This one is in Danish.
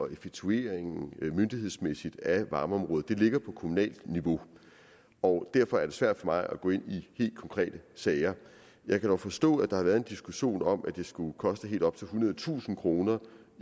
og effektueringen myndighedsmæssigt af varmeområdet ligger på kommunalt niveau og derfor er det svært for mig at gå ind i helt konkrete sager jeg kan dog forstå at der har været en diskussion om at det skulle koste helt op til ethundredetusind kroner